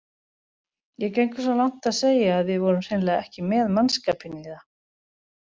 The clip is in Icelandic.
Ég geng svo langt að segja að við vorum hreinlega ekki með mannskapinn í það.